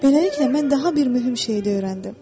Beləliklə mən daha bir mühüm şeyi də öyrəndim.